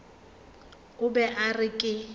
o be a re ke